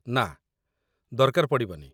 ନାଁ, ଦରକାର ପଡ଼ିବନି ।